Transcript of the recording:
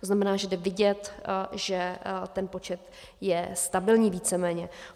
To znamená, že lze vidět, že ten počet je stabilní víceméně.